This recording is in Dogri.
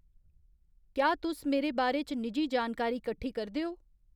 क्या तुस मेरे बारे च निजी जानकारी कट्ठी करदे ओ